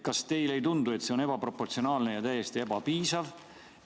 Kas teile ei tundu, et see on ebaproportsionaalne ja täiesti ebapiisav?